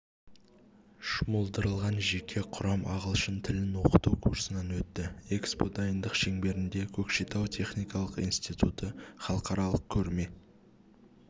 жұмылдырылған жеке құрам ағылшын тілін оқыту курсынан өтті экспо дайындық шеңберінде көкшетау техникалық институты халықаралық көрме